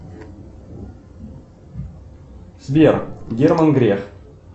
сбер герман греф